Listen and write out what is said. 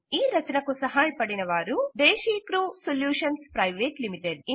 ఈ రచనకు సహాయపడిన వారు దేశీక్ర్యూ సొల్యూషన్స్ ప్రైవేట్ లిమిటెడ్